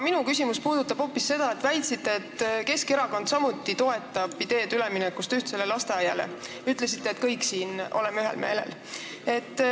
Minu küsimus puudutab hoopis seda, et te väitsite, et Keskerakond samuti toetab ühtsele lasteaiale ülemineku ideed, te ütlesite, et me kõik siin oleme ühel meelel.